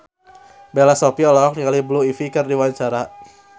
Bella Shofie olohok ningali Blue Ivy keur diwawancara